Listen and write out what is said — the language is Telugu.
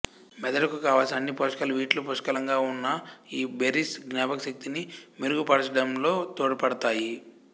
మెదడుకు కావలసిన అన్ని పోషకాలు వీటిలో పుష్కలంగా ఉన్న ఈ బెర్రీస్ జ్ఞాపక శక్తిని మెరుగుపరచడంలో తోడ్పడతాయి